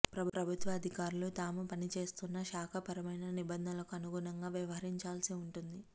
ప్రభుత్వ అధికారులు తాము పనిచేస్తున్న శాఖపరమైన నిబంధనలకు అనుగుణంగా వ్యవహరించాల్సి ఉంటుంది